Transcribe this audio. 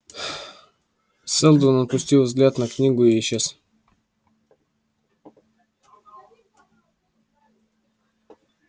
сэлдон опустил взгляд на книгу и исчез